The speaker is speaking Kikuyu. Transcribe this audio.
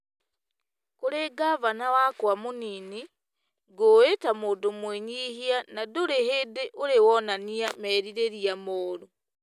Kũrĩ ngavana wakwa mũnini , ngũũĩ ta mũndũ mwĩnyihia na ndũrĩ hĩndĩ ũrĩ wonania merirĩria moru.